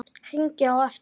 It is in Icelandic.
Hringi á eftir